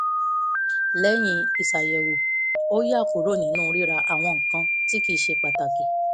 lẹ́yìn ìṣàyẹ̀wò ó yá kúrò nínú rira àwọn nǹkan tí kì í ṣe pàtàkì